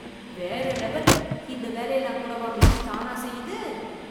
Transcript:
வேற லெவல் ! இந்த வேலையெல்லாம் கூடவா மெஷின் தானா செய்யுது.